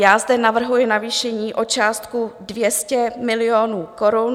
Já zde navrhuji navýšení o částku 200 milionů korun.